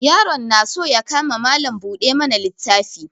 Yaron na so ya kama Mallam buɗe mana littafi.